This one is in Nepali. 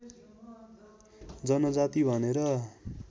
जनजाति भनेर